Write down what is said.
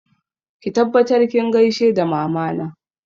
Ki tabbatar kin gaishe da Mamana!